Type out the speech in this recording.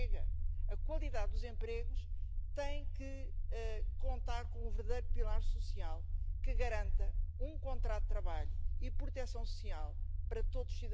Drittens In seiner Politik der ever closer union geht es nicht mehr weiter. Heute geht es doch eher darum, wer als Nächstes austritt, und nicht mehr um die Frage, wer der Union als Nächstes beitritt.